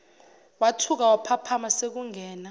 wathuka waphaphama sekungena